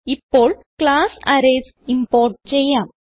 ഇപ്പോൾ class arrays import ചെയ്യാം